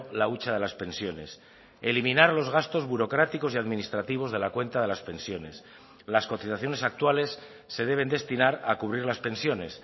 la hucha de las pensiones eliminar los gastos burocráticos y administrativos de la cuenta de las pensiones las cotizaciones actuales se deben destinar a cubrir las pensiones